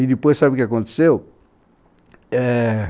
E depois sabe o que aconteceu?